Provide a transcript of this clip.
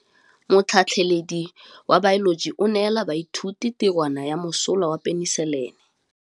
Motlhatlhaledi wa baeloji o neela baithuti tirwana ya mosola wa peniselene.